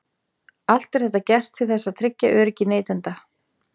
Allt er þetta gert til þess að tryggja öryggi neytenda.